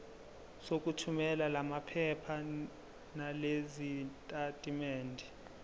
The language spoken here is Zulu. sokuthumela lamaphepha nalezitatimendi